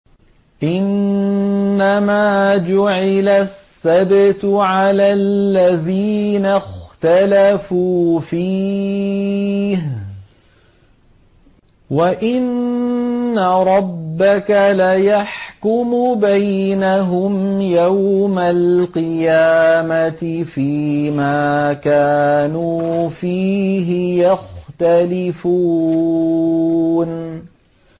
إِنَّمَا جُعِلَ السَّبْتُ عَلَى الَّذِينَ اخْتَلَفُوا فِيهِ ۚ وَإِنَّ رَبَّكَ لَيَحْكُمُ بَيْنَهُمْ يَوْمَ الْقِيَامَةِ فِيمَا كَانُوا فِيهِ يَخْتَلِفُونَ